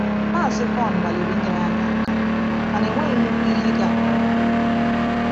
Maazị Vaughn gbalịrị inyere anyị aka, mana enweghị nnukwu ihe ịga nke ọma.